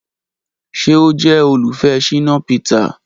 Ṣe o jẹ olufẹ Shina Peter?